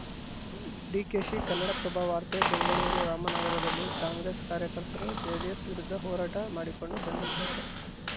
ಡಿಕೆಶಿ ಕನ್ನಡಪ್ರಭ ವಾರ್ತೆ ಬೆಂಗಳೂರು ರಾಮನಗರದಲ್ಲಿ ಕಾಂಗ್ರೆಸ್‌ ಕಾರ್ಯಕರ್ತರು ಜೆಡಿಎಸ್‌ ವಿರುದ್ಧ ಹೋರಾಟ ಮಾಡಿಕೊಂಡು ಬಂದಿದ್ದಾರೆ